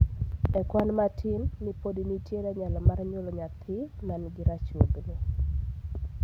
e kwan matin ni pod nitiere nyalo mar nyuolo nyathi man gi ruchruogni